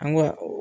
An ko